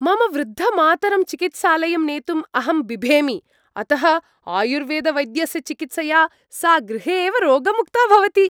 मम वृद्धमातरं चिकित्सालयं नेतुम् अहं बिभेमि, अतः आयुर्वेदवैद्यस्य चिकित्सया सा गृहे एव रोगमुक्ता भवति।